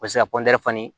O bɛ se ka